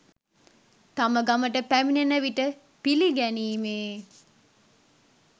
තම ගමට පැමිණෙන විට පිළිගැනීමේ